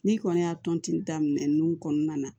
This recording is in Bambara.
N'i kɔni y'a tɔnti daminɛ ninnu kɔnɔna na